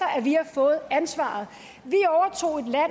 fået ansvaret